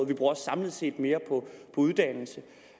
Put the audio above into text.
vi bruger også samlet set mere på uddannelse